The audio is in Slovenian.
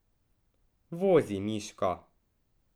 Vozi, Miško!